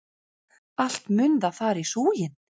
Allt mun það fara í súginn!